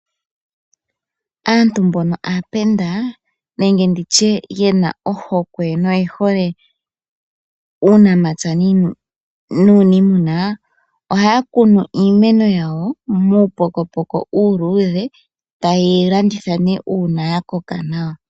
Aantu mbono aapenda nenga ye na ohokwe noyehole uunamapya nuuniimuna , ohaya kunu iimeno yawo muupokopoko uuluudhe, taye yi landitha ihe uuna ya koka nawa.